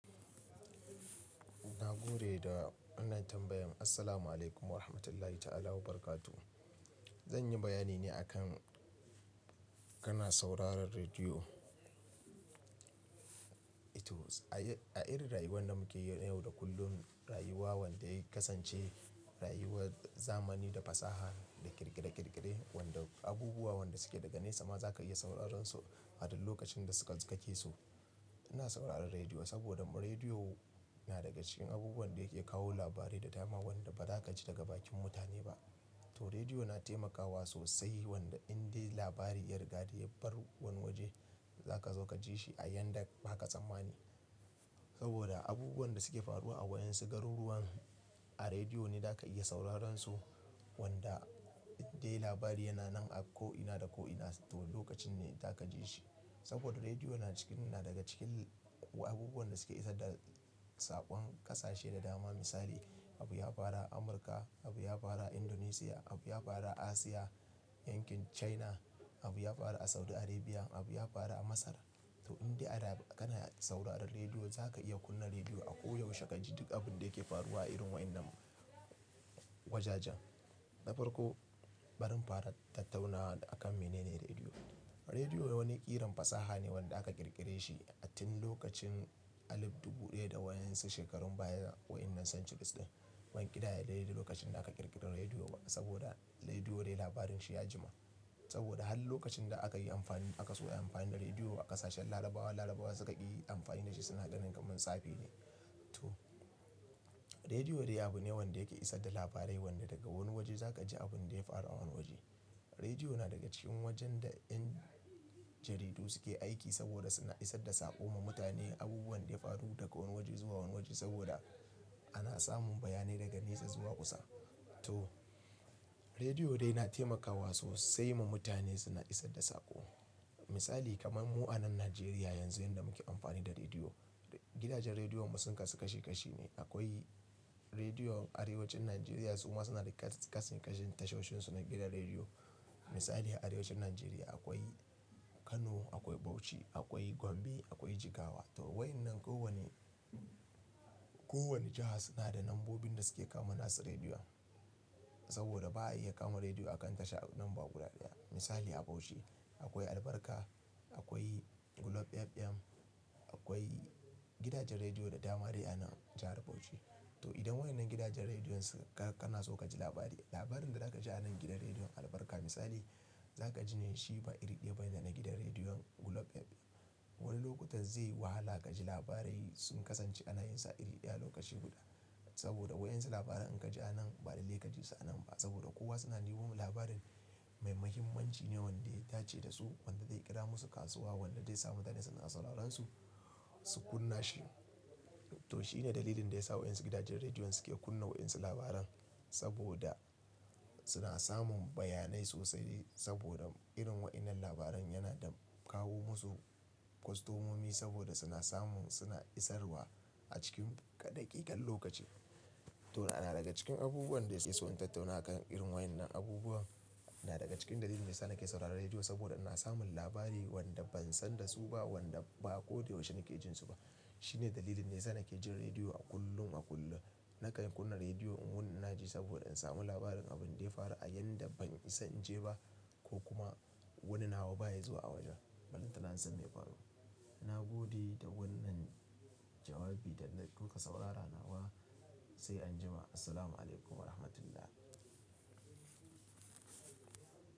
Na gode da wannan tambayan. Assalamu'alaikum warahmatullahi ta'ala wabarakatuh. Zan yi bayani ne akan kana sauraron rediyo. Eh to a irin rayuwar da mukeyi na yau da kullun rayuwa wanda ya kasance rayuwar zamani da fasaha da ƙirƙire-ƙirƙire wanda abubuwan da suke daga nesa ma za ka iya sauraron su a duk lokacin da kake so. Ina sauraron rediyo saboda rediyo na daga cikin abubuwan da yake kawo labarai da dama wanda ba za ka ji daga bakin mutane ba. To rediyo na taimakawa sosai wanda inda labari ya riga ya bar wani waje za ka zo ka ji shi a yanda ba ka tsammani. Saboda abubuwan da suke faruwa a waɗansu garu ruwan a rediyo ne za ka iya sauraron su wanda inda labari yana nan a ko'ina da ko'ina. To lokacin ne za ka ji shi. Saboda rediyo na cikin, na daga cikin abubuwan da suke isar da saƙon ƙasashe da dama. Misali abu ya fara Amurka, abu ya fara Indonesia, abu ya fara Asiya yankin China, abu ya fara a Saudi Arabia, abu ya fara a Masar. To inda ana ka na sauraren rediyo za ka iya kunna rediyo a ko yaushe ka ji duk abun da yake faruwa a irin waɗannan wajajen. Na farko, bari in fara tattaunawa akan menene rediyo. Rediyo wani ƙiran fasaha ne wanda aka ƙirƙire shi a tin lokacin alif dubu ɗaya da waɗansu shekarun baya waɗannan centuries ɗin. Ban ƙidaya daidai lokacin da aka ƙirƙira rediyo ba saboda rediyo dai labarin shi ya jima. Saboda har lokacin da akayi amfani aka so ayi amfani da rediyo a ƙasashen larabawa, larabawa suka ƙi amfani dashi suna ganin kaman tsafi ne to rediyo dai abune wanda yake isar da labarai wanda daga wani waje zaka ji abinda ya faru a wani waje rediyo na daga cikin wajen da 'yan jaridu suke aiki saboda suna isar da saƙo ma mutane abubuwan da ya faru daga wani waje zuwa wani waje saboda ana samun bayanai daga nesa zuwa kusa. To rediyo dai na taimakawa sosai ma mutane suna isar da saƙo. Misali kamar mu a nan Najeriya yanzu yanda muke amfani da rediyo. Gidajen rediyon mu sun kasu kashi kashi ne akwai rediyon arewacin Nigeria suma sunada kashi kashin tashoshin su a gidan rediyo. Misali a arewacin Najeriya akwai Kano, akwai Bauchi, akwai Gombe, akwai Jigawa. To waɗannan kowane, kowane jiha suna da lambobin da suke kama nasu rediyo. Saboda ba a iya kama rediyo a kan tasha ɗin ba guda ɗaya. Misali a Bauchi akwai albarka, akwai Gulob FM, akwai gidajen rediyo da dama dai a nan jahar Bauchi. To idan waɗannan gidajen rediyon suna, kana so ka ji labari, labarin da za ka ji a nan gidan rediyon albarka misali za ka ji ne shi ba iri ɗaya bane da na gidan rediyon Gulob fm. Wani lokutan zai yi wahala ka ji labarai sun kasance a nayinsa iri ɗaya lokaci guda. Saboda waɗan su labaran in ka ji a nan baɗi lei ka ji su a nan ba. Saboda kowa suna nemo labarin mai mahimmanci ne wanda ya dace da su, wanda zai ƙira masu kasuwa, wanda zai sa mutane suna sauraron su, su kunna shi. To shi ne dalilin da ya sa waɗan su gidajen rediyon suke kunna waɗan su labaran. Saboda suna samun bayanai sosai saboda irin waɗannan labaran yana kawo musu kwastomomi saboda suna samun, suna isarwa a cikin daƙikan lokaci. To na daga cikin abubuwan da nake so in tattauna a kan irin waɗannan abubuwan. Na daga cikin dalilin da yasa ke sauraron rediyo saboda ina samun labari wanda ban san da su ba wanda ba ko da yaushe nake jin su ba. Shi ne dalilin da yasa ke jin rediyo a kullum a kullum. Nakan kunna rediyo in wuni ina ji saboda in samu labarin abun da ya faru a inda ban isa in je ba ko kuma wani nawa baya zuwa a wajen ballantana in san meya faru na gode da wannan jawabi da na kuka saurara nawa. Sai anjima. Assalamu'alaikum warahmatullah.